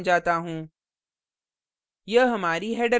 अब मैं code समझाता हूँ